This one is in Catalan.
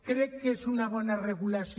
crec que és una bona regulació